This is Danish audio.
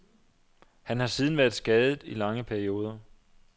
Han har siden været skadet i lange perioder.